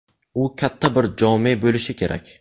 U katta bir jome bo‘lishi kerak.